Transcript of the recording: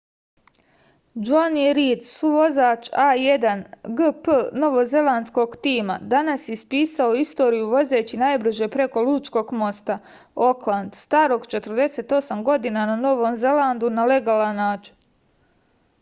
džoni rid suvozač a1gp novozelandskog tima danas je ispisao istoriju vozeći najbrže preko lučkog mosta okland starog 48 godina na novom zelandu na legalan način